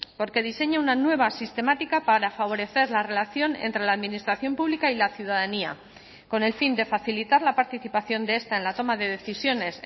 porque diseña una nueva sistemática para favorecer la relación entre la administración pública y la ciudadanía con el fin de facilitar la participación de esta en la toma de decisiones